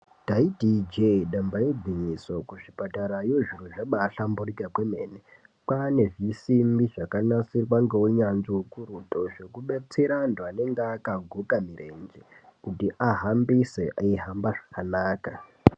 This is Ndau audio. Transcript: Ndaiti Ije damba igwinyiso remene kuzvipatarayo zviro zvabahlamburuka kwemene kwane zvisimbi zvakanasirwa neunyanzvi ukurutu zvekudetsera antu anenge akaguka mirenje kuti ahambise eihamba zvakanaka.